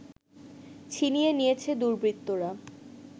ছিনিয়ে নিয়েছে দুর্বৃত্তরা